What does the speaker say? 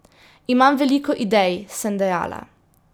Imam veliko idej, sem dejala.